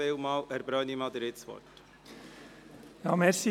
Herr Brönnimann, Sie haben das Wort.